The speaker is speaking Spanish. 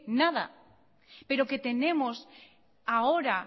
nada pero que tenemos ahora